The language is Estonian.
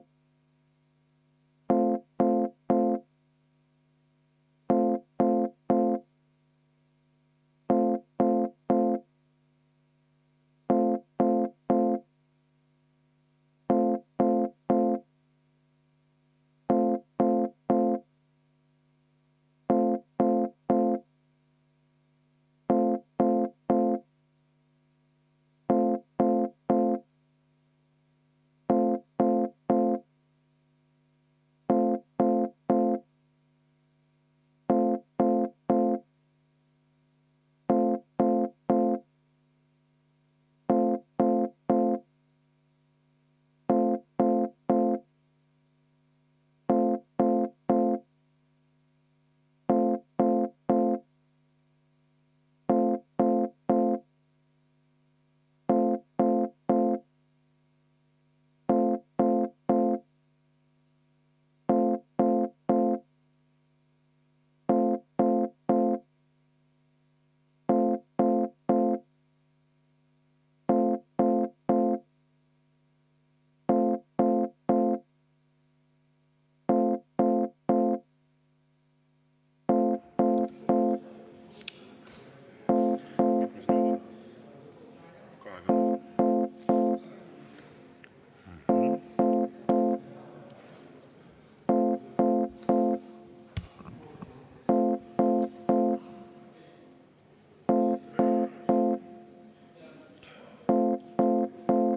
V a h e a e g